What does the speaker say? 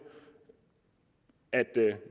at